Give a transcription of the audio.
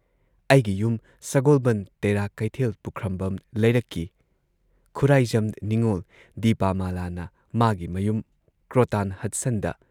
ꯑꯩꯒꯤ ꯌꯨꯝ ꯁꯒꯣꯜꯕꯟꯗ ꯇꯦꯔꯥ ꯀꯩꯊꯦꯜ ꯄꯨꯈ꯭ꯔꯝꯕꯝ ꯂꯩꯔꯛꯀꯤ ꯈꯨꯔꯥꯏꯖꯝ ꯅꯤꯡꯉꯣꯜ ꯗꯤꯄꯥꯃꯥꯂꯥꯅ ꯃꯥꯒꯤ ꯃꯌꯨꯝ ꯀ꯭ꯔꯣꯇꯥꯟ ꯍꯗꯁꯟꯗ